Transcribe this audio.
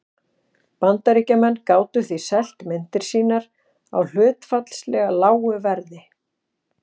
Bandaríkjamenn gátu því selt myndir sínar á hlutfallslega lágu verði.